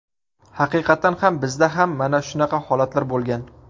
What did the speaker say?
Haqiqatan ham bizda ham mana shunaqa holatlar bo‘lgan.